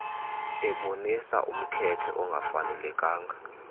ebonisa umkhethe ongafanelekanga